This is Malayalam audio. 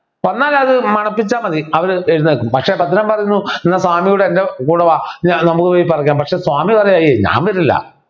എന്നാൽ അത് മണപ്പിച്ചാ മതി അത് പിന്നെ പക്ഷേ ഭദ്രൻ പറയുന്നു താൻ കൂടെ എൻ്റെ കൂടെ വാ നമുക്ക് പോയി പഠിക്കാം പക്ഷേ താങ്കൾ പറയാ എയ് ഞാൻ വരുന്നില്ല